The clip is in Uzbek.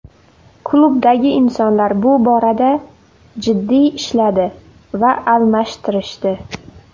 Klubdagi insonlar bu borada jiddiy ishladi va almashtirishdi.